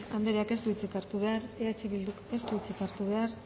garcía andreak ez du hitzik hartu behar eh bilduk ez du hitzik hartu behar